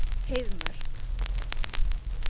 Heiðmörk